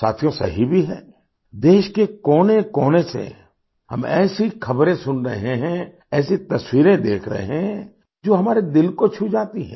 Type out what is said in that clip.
साथियो सही भी है देश के कोनेकोने से हम ऐसीख़बरें सुन रहे हैं ऐसी तस्वीरें देख रहे हैं जो हमारे दिल को छू जाती हैं